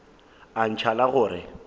a ntšha la go re